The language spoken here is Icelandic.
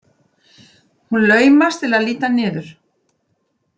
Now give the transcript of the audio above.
Hún laumast til að líta niður.